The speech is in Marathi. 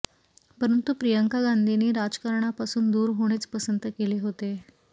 परंतु प्रियंका गांधींनी राजकारणापासून दूर होणेच पसंत केले होते